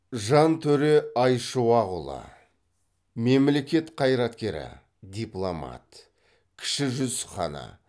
жантөре айшуақұлы мемлекет қайраткері дипломат кіші жүз ханы